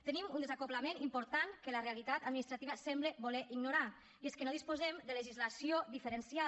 tenim un desacoblament important que la realitat administrativa sembla voler ignorar i és que no disposem de legislació diferenciada